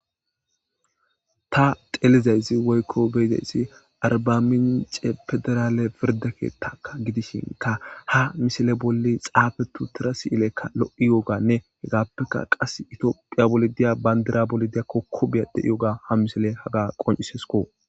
Ta beyizayssii woykko xellizayssi arbamincce pediralle pirdde ketakka gidishinkka ha misile bolla xaafeti uuttida lo'okka lo'iyogganne aapekka qasikka itophphiya giyo bandira bolla kokobey diyogga ha misiley haaga qonccisesikko